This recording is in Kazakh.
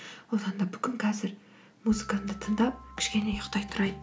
одан да бүгін қазір музыкамды тыңдап кішкене ұйықтай тұрайын